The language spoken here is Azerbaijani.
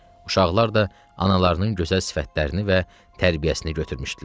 Uşaqlar da analarının gözəl sifətlərini və tərbiyəsini götürmüşdülər.